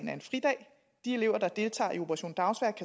er en fridag de elever der deltager i operation dagsværk